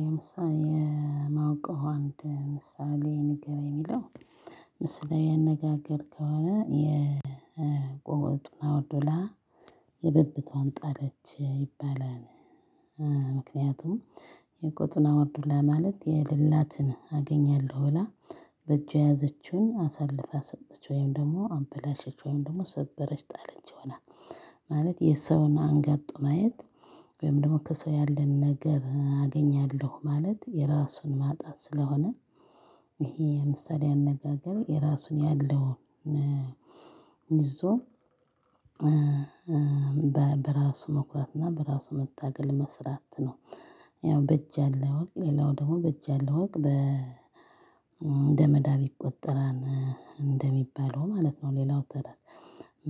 የምሳ የማውቀው አንድ ምሳሌ ንገረኝ ነው የሚለው። ምሳሌያ ዊ አነጋገር ከሆነ "የቆጡን አወርድ ብላ የብብቷን ጣለች" ይባላል ምክንያቱም የቆጡን አወርድ ብላ ማለት የሌላትን አገኛለሁ ብላ በእጇ የያዘችውን አሳልፋ ሰጠች ወይም ደግሞ አበላሸች ወይም ደግሞ ሰበረች፣ ጣለች ሆናል። ማለት የሰውን አንጋጦ ማየት ወይም ደግሞ ከሰው ያለን ነገር አገኛለሁ ማለት የራሱን ማጣት ስለሆነ ይሄ ምሳሌዊ አነጋገር የራሱን ያለውን ይዞ በራሱ መኩራት እና በራሱ መታገል መስራት ነው። ያው በእጅ ያለ ወርቅ ሌላው ደግሞ "በእጅ ያለ ወርቅ እንደ መዳብ ይቆጠራል" እንደሚባለው ማለት ነው ሌላው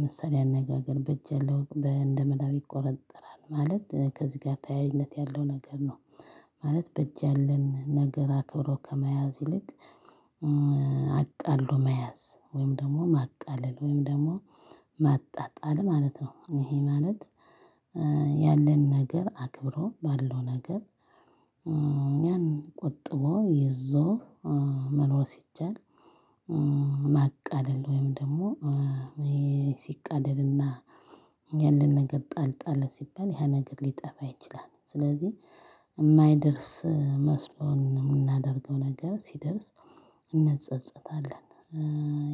ምሳሌዊ አነጋገር። በእጅ ያለ ወርቅ እንደ መዳብ ይቆጠራል ማለት ከዚህ ጋር ተያያዥነት ያለው ነገር ነው። ማለት በእጅ ያለን ነገር አክብሮ ከመያዝ ይልቅ አቃለሁ መያዝ ወይም ደግሞ ማቃለል ወይም ደግሞ ማጣጣል ማለት ነው። ይሄ ማለት ያለን ነገር አክብሮ ባለው ነገር ያን ቆጥቦ ይዞ መኖር ሲቻል ማቃለል ወይም ደግሞ ይሄ ሲቃለልና ያለን ነገር ጣል ጣል ሲባል ያ ነገር ሊጠፋ ይችላል። ስለዚህ የማይደርስ መስሎን የምናደርገው ነገር ሲደርስ እንጸጸታለን።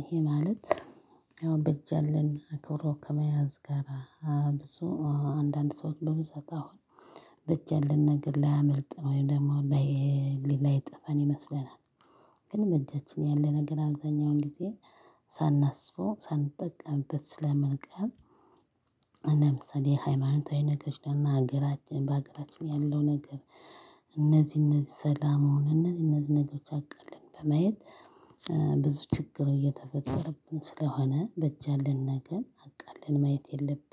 ይሄ ማለት ያው በእጅ ያለን ክብሮ ከመያዝ ጋራ ብዙ አንዳንድ ሰዎች በብዛት አሁን በእጅን ያለን ነገር ላያመልጥ ነው ወይም ደግሞ ላይ ላይ ላይጠፋን ይመስለናል። ግን በእጃችን ያለ ነገር አብዛኛውን ጊዜ ሳናስበው ሳንጠቀምበት ስለመልቀቅ እንደ ምሳሌ ሃይማኖታዊ ነገሮች እና ሀገራችን በሀገራችን ያለው ነገር እነዚህ እነዚህ ሰላም አሁን እነዚህ እነዚህ ነገሮች አቃለን በማየት ብዙ ችግር እየተፈጠረብን ስለሆነ በእጅ ያለን ነገር አቃለን ማየት የለብንም።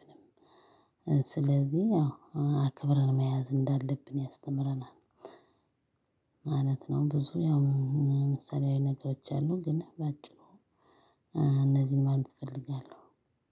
ስለዚህ ያው አክብረን መያዝ እንዳለብን ያስተምረናል ማለት ነው። ብዙ ያው ምሳሌያዊ ነገሮች አሉ። ግን በጭሩ እነዚህን ማን እፈልጋለሁ።